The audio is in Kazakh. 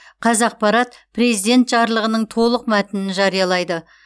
қазақпарат президент жарлығының толық мәтінін жариялайды